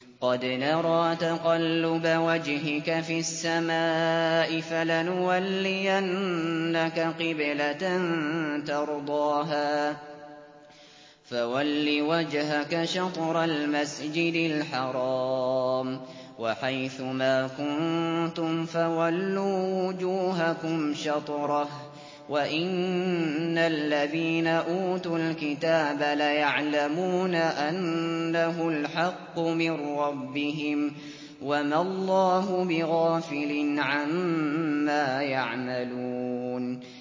قَدْ نَرَىٰ تَقَلُّبَ وَجْهِكَ فِي السَّمَاءِ ۖ فَلَنُوَلِّيَنَّكَ قِبْلَةً تَرْضَاهَا ۚ فَوَلِّ وَجْهَكَ شَطْرَ الْمَسْجِدِ الْحَرَامِ ۚ وَحَيْثُ مَا كُنتُمْ فَوَلُّوا وُجُوهَكُمْ شَطْرَهُ ۗ وَإِنَّ الَّذِينَ أُوتُوا الْكِتَابَ لَيَعْلَمُونَ أَنَّهُ الْحَقُّ مِن رَّبِّهِمْ ۗ وَمَا اللَّهُ بِغَافِلٍ عَمَّا يَعْمَلُونَ